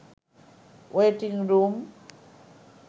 waiting room